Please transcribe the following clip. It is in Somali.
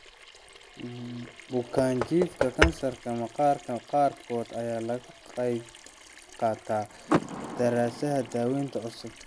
Bukaanjiifka kansarka maqaarka qaarkood ayaa ka qaybqaata daraasadaha daawaynta cusub.